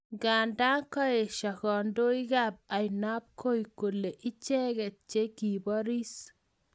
Nganda kaesho kandoikab ainabkoi kole icheket che kiboris